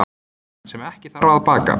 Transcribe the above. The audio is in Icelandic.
sem ekki þarf að baka